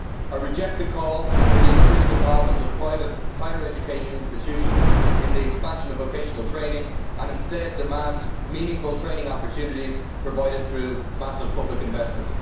I reject the call for the increased involvement of private higher education institutions in the expansion of vocational training and instead demand meaningful training opportunities provided through massive public investment.